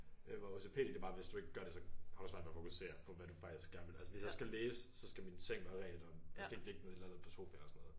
Øh hvor OCPD det er bare hvis du ikke gør det så har du svært ved at fokusere på hvad du faktisk gerne vil altså hvis jeg skal læse så skal min seng være redt og der skal ikke ligge noget et eller andet på sofaen og sådan noget